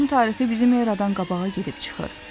Bakının tarixi bizim eradan qabağa gedib çıxır.